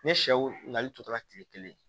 Ni sɛw ɲininkali tora kile kelen